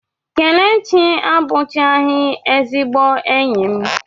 Kelechi abụchaghị ezigbo enyi m.